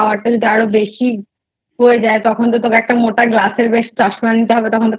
চোখের power টা আরো বেশি হয়ে যায় তখন তোকে একটা মোটা Glass এর বেশ চশমা নিতে হবে তখন